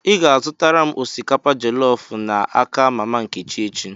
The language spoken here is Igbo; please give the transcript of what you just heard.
Ị ga-azụtara m osikapa jelọf n'aka mama Nkechi echi!